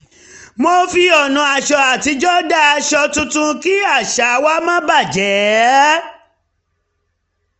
mo fi ọ̀nà aṣọ àtijọ́ dá aṣọ tuntun kí àṣà wa má bà jé